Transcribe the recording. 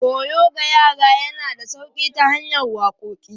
Koyo ga yara yana da sauƙi ta hanyar waƙoƙi.